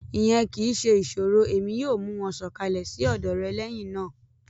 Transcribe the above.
Iyẹn kii ṣe iṣoro Emi yoo mu wọn sọkalẹ si ọdọ rẹ lẹhinna.